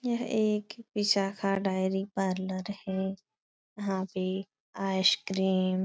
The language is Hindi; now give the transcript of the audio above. यह एक पिज़्ज़ा का डेयरी पार्लर है। यहाँ पे आइसक्रीम --